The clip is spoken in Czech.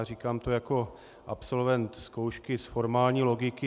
A říkám to jako absolvent zkoušky z formální logiky.